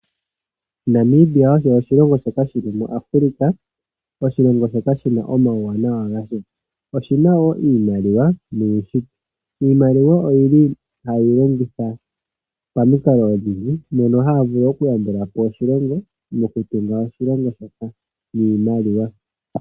Namibia osho oshilongo shoka shili mu Afrika oshilongo shoka shina omauwanawa ngasho. Oshina wo iimaliwa noohi, iimaliwa oyili hayi longithwa pamikalo dhi ili mo havulu oku yambulapo oshilongo no kutunga oshilongo shoka niimaliwa .